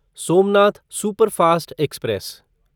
Somnath superfast express